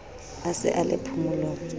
a se a le phomolong